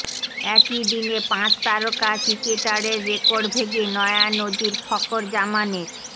একই দিনে পাঁচ তারকার ক্রিকেটারের রেকর্ড ভেঙে নয়া নজির ফকর জামানের